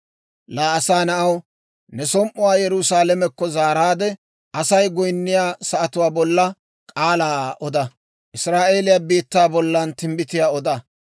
«Laa asaa na'aw, ne som"uwaa Yerusaalamekko zaaraadde, Asay goyinniyaa sa'atuwaa bolla k'aalaa oda; Israa'eeliyaa biittaa bollan timbbitiyaa oda.